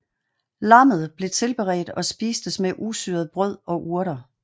Lammet blev tilberedt og spistes med usyret brød og urter